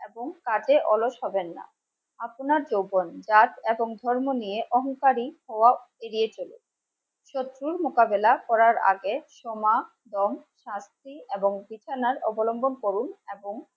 এবং কাজে অলস হবেন না আপনার যৌবন, নাচ এবং ধর্ম নিয়ে অহংকারী হওয়া এড়িয়ে চলুন শত্রুর মোকাবিলা করার আগে সোমা, রং, শাস্তি এবং অবলম্বন করুন. এবং